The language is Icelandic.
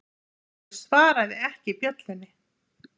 Hermundur svaraði ekki bjöllunni.